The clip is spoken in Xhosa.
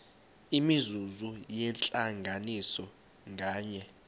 imizuzu yentlanganiso nganye